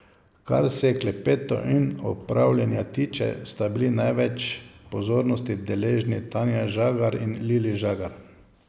Kar se klepetov in opravljanja tiče, sta bili največ pozornosti deležni Tanja Žagar in Lili Žagar.